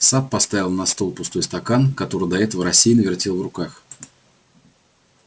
сатт поставил на стол пустой стакан который до этого рассеянно вертел в руках